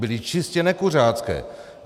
Byly čistě nekuřácké.